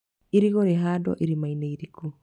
Irigũ rĩ handagwo irima-inĩ iriku.